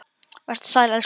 Vertu sæl elsku amma.